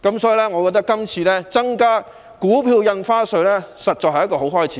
所以，我認為今次增加股票印花稅，實在是一個好開始。